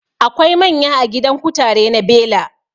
Akwai manya a gidan kutare na bela